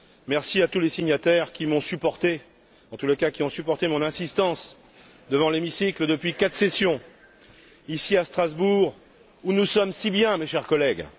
Merci à tous les signataires qui m'ont supporté, à ceux, en tous les cas, qui ont supporté l'insistance que j'ai montrée devant l'hémicycle depuis quatre sessions, ici à Strasbourg, où nous sommes si bien, mes chers collègues.